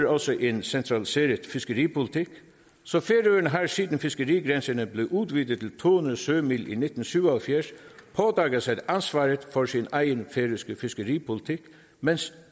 også en centraliseret fiskeripolitik så færøerne har siden fiskerigrænserne blev udvidet til to hundrede sømil i nitten syv og halvfjerds pådraget sig ansvaret for sin egen færøske fiskeripolitik mens